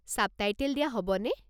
Subtitle দিয়া হ'বনে?